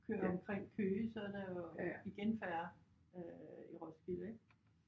Kører omkring Køge så er der jo igen færre øh i Roskilde ik